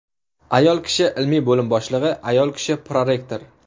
Ayol kishi ilmiy bo‘lim boshlig‘i, ayol kishi prorektor.